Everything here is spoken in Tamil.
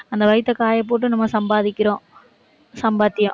அந்த வயித்தை காயப்போட்டு நம்ம சம்பாதிக்கிறோம் சம்பாத்தியம்